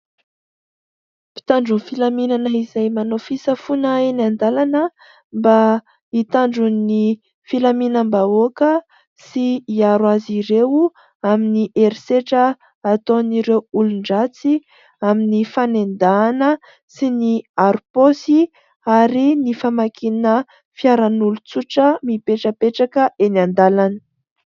mpitandron' nyy filaminana izay manao fisafoana eny an-dalana mba hitandron'ny filaminam-bahoaka sy hiaro azy ireo amin'ny herisetra ataon'ireo olon-dratsy amin'ny fanendahana sy ny aro paosy ary ny famakiana fiaran'olon-tsotra mipetrapetraka eny an-dalana